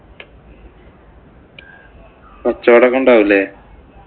കച്ചോടം ഒക്കെ ഉണ്ടാവും ഇല്ലേ?